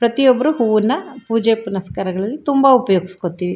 ಪ್ರತಿಯೊಬ್ರು ಹೂವನ್ನ ಪೂಜೆ ಪುನಸ್ಕಾರಗಳಲ್ಲಿ ತುಂಬಾ ಉಪಯೋಗಸ್ಕೊತ್ತಿವಿ.